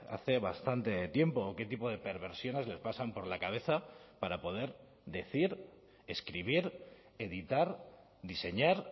hace bastante tiempo o qué tipo de perversiones les pasan por la cabeza para poder decir escribir editar diseñar